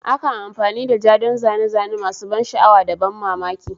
Akan amfani da ja don zane-zane masu ban sha'awa da ban mamaki.